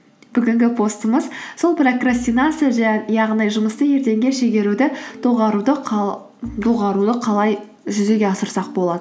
бүгінгі постымыз сол прокрастинация яғни жұмысты ертеңге шегеруді доғаруды қалай жүзеге асырсақ болады